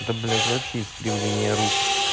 да блять вообще искривление рук